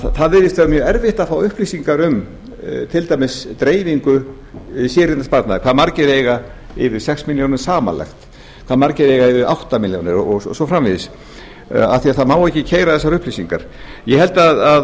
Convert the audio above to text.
það virðist vera mjög erfitt að fá upplýsingar um til dæmis dreifingu séreignarsparnaðinn hve margir eiga yfir sex milljónir samanlagt hve margir eiga yfir átta milljónir og svo framvegis af því að það má ekki keyra þessar upplýsingar ég held að